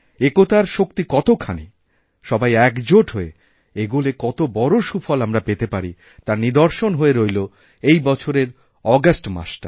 একতার শক্তিকতখানি সবাই একজোট হয়ে এগোলে কত বড় সুফল আমরা পেতে পারি তার নিদর্শন হয়ে রইল এইবছরের অগাস্ট মাসটা